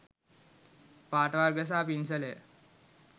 පාට වර්ග සහ පින්සලය